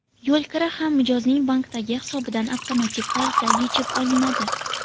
Yo‘lkira ham mijozning bankdagi hisobidan avtomatik tarzda yechib olinadi.